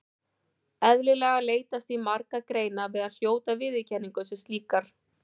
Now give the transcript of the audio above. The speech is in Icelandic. Eðlilega leitast því margar greinar við að hljóta viðurkenningu sem slíkar.